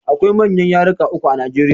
Akwai manyan yaruka uku a Najeriya